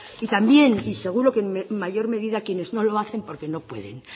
y también y seguro que en mayor medida quienes no lo hacen porque no pueden